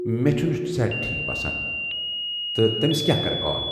مےٚ چُھنہٕ صحت ٹھیٖک باسان تہٕ تٔمِس کیا کرٕ كال ۔